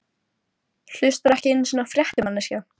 Hlustarðu ekki einu sinni á fréttir, manneskja?